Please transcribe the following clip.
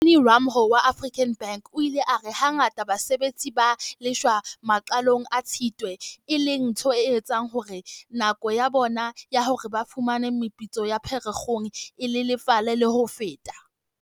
Mellony Ramalho wa African Bank o ile a re hangata basebetsi ba lefshwa maqalong a Tshitwe, e leng ntho e etsang hore nako ya bona ya hore ba fumane meputso ya Pherekgong e lelefale le ho feta.